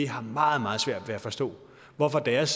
har meget meget svært ved at forstå hvorfor deres